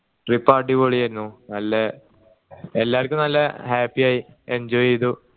trip അടിപൊളിയായിരുന്നു നല്ല എല്ലാരിക്കും നല്ല happy ആയി enjoy ചെയ്തു